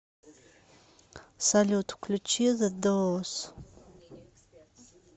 салют включи зе доуз